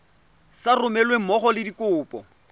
sa romelweng mmogo le dikopo